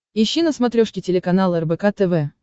ищи на смотрешке телеканал рбк тв